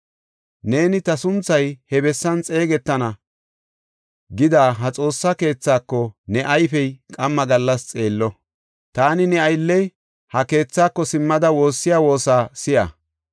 Neeni, ‘Ta sunthay he bessan xeegetana’ gida ha Xoossa keethako, ne ayfey qamma gallas xeello. Taani ne aylley ha keethako simmada woossiya woosa si7a.